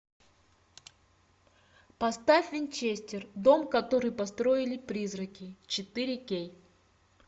поставь винчестер дом который построили призраки четыре кей